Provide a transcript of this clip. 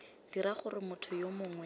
dira gore motho yo mongwe